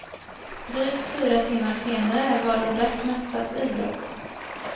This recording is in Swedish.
Drygt fyra timmar senare var de rätt mätta på idrott.